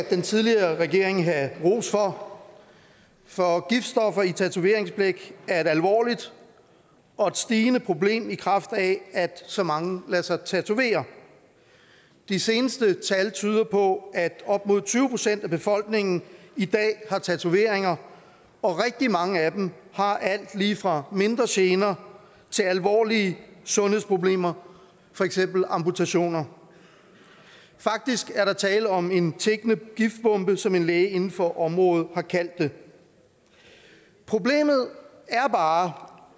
den tidligere regering have ros for for giftstoffer i tatoveringsblæk er et alvorligt og stigende problem i kraft af at så mange lader sig tatovere de seneste tal tyder på at op mod tyve procent af befolkningen i dag har tatoveringer og rigtig mange af dem har alt lige fra mindre gener til alvorlige sundhedsproblemer for eksempel amputationer faktisk er der tale om en tikkende giftbombe som en læge inden for området har kaldt det problemet er bare